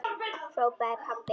hrópaði pabbi.